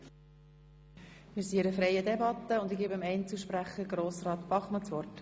Wir führen eine freie Debatte, und ich gebe dem Einzelsprecher Grossrat Bachmann das Wort.